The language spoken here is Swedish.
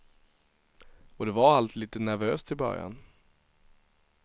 Och det var allt lite nervöst i början.